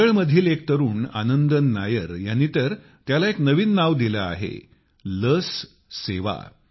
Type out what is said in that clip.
केरळमधील एक तरुण आनंदन नायर ह्यांनी तर त्याला एक नवीन नाव दिले आहे लस सेवा